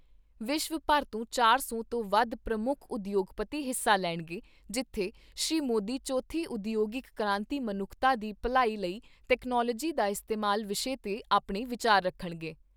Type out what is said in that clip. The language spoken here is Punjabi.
ਵਿਸ਼ਵ ਭਰ ਤੋਂ ਚਾਰ ਸੌ ਤੋਂ ਵੱਧ ਪ੍ਰਮੁੱਖ ਉਦਯੋਗਪਤੀ ਹਿੱਸਾ ਲੈਣਗੇ, ਜਿੱਥੇ ਸ੍ਰੀ ਮੋਦੀ ਚੌਥੀ ਉਦਯੋਗਿਕ ਕ੍ਰਾਂਤੀ ਮਨੁੱਖਤਾ ਦੀ ਭਲਾਈ ਲਈ ਤਕਨਾਲੋਜੀ ਦਾ ਇਸਤੇਮਾਲ ਵਿਸ਼ੇ 'ਤੇ ਆਪਣੇ ਵਿਚਾਰ ਰੱਖਣਗੇ।